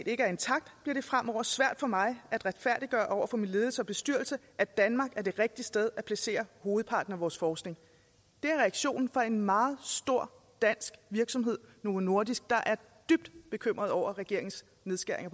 ikke er intakt bliver det fremover svært for mig at retfærdiggøre over min ledelse og bestyrelse at danmark er det rigtige sted at placere hovedparten af vores forskning det er reaktionen fra en meget stor dansk virksomhed novo nordisk der er dybt bekymret over regeringens nedskæringer